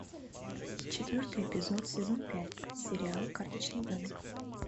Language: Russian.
четвертый эпизод сезон пять сериал карточный домик